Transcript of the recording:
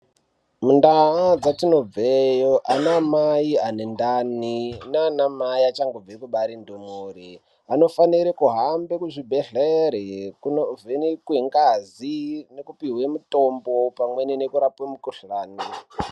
Mundaa dzatinobveyo anaamai ane ndai nanamai achangobve kubare ndumure. Vanofanire kuhambe kuzvibhedhlere kunovhenekwe ngazi nekupihwe mutombo pamweni nekurape mukuhlani.